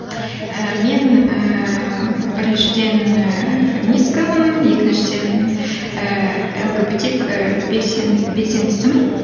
і мен ііі біріншіден ііі феминисткамын екіншіден ііі лгбтик ііі белсендісімін